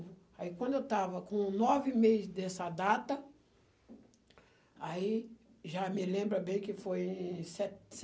Aí quando eu estava com nove meses dessa data, aí já me lembro bem que foi em se se